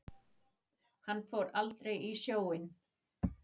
Hann fór aldrei í sjóinn.